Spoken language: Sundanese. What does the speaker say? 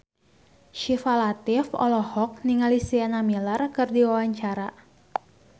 Syifa Latief olohok ningali Sienna Miller keur diwawancara